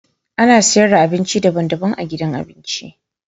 Ana sayar da abinci daban-daban a gidan abinci.